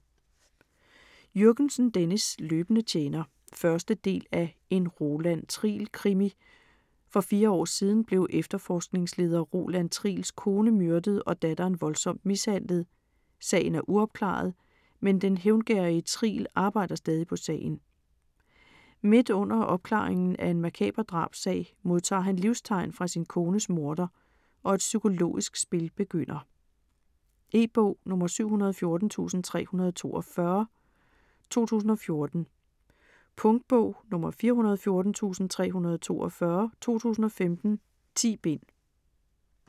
Jürgensen, Dennis: Løbende tjener 1. del af En Roland Triel krimi. For fire år siden blev efterforskningsleder Roland Triels kone myrdet og datteren voldsomt mishandlet. Sagen er uopklaret, men den hævngerrige Triel arbejder stadig på sagen. Midt under opklaringen af en makaber drabssag, modtager han livstegn fra sin kones morder, og et psykologisk spil begynder. E-bog 714342 2014. Punktbog 414342 2015. 10 bind.